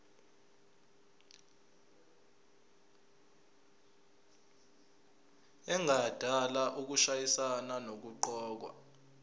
engadala ukushayisana nokuqokwa